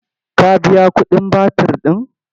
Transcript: Ka biya kuɗin batir ɗin?